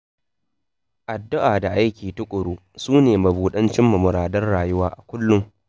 Addu'a da aiki tuƙuru, sune mabuɗan cimma muradan rayuwa a kullum.